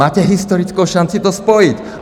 Máte historickou šanci to spojit.